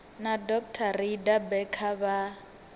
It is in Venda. na dr rayda becker vha